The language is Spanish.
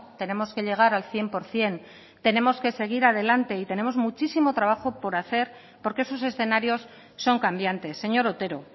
tenemos que llegar al cien por ciento tenemos que seguir adelante y tenemos muchísimo trabajo por hacer porque sus escenarios son cambiantes señor otero